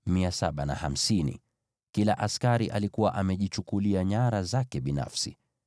Kila askari alikuwa amejichukulia nyara zake binafsi.